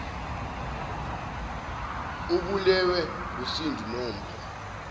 ubulewe ngusindi nompho